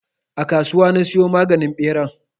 A kasuwa na siyo maganin ɓeran.